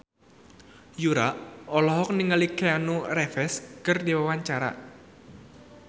Yura olohok ningali Keanu Reeves keur diwawancara